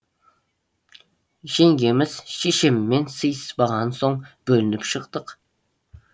жеңгеміз шешеммен сыйыспаған соң бөлініп шықтық